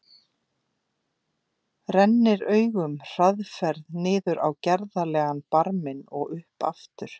Rennir augunum hraðferð niður á gerðarlegan barminn og upp aftur.